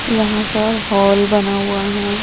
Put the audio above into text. यहां पर हॉल बना हुआ है।